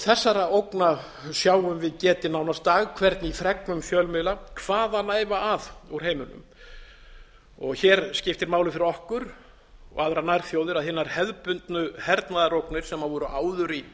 þessara ógna sjáum við getið nánast dag hvern í fregnum fjölmiðla hvaðanæva að úr heiminum hér skiptir máli fyrir okkur og aðrar nærþjóðir að hinar hefðbundnu hernaðarógnir sem voru áður í